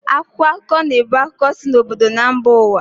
Akwụkwọ akụkọ na-ebu akụkọ si obodo na mba ụwa